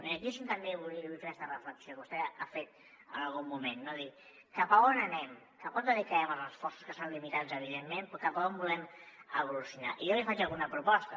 i aquí és on també vull fer aquesta reflexió que vostè ha fet en algun moment de dir cap a on anem cap a on dedicarem els esforços que són limitats evidentment però cap a on volem evolucionar i jo li faig alguna proposta